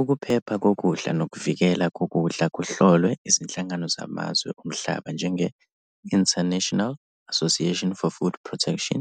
Ukuphepha kokudla nokuvikeleka kokudla kuhlolwe izinhlangano zamazwe omhlaba njenge-International Association for Food Protection,